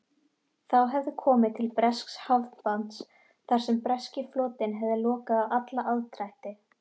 Þá hefði komið til bresks hafnbanns þar sem breski flotinn hefði lokað á alla aðdrætti.